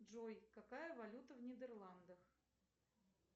джой какая валюта в нидерландах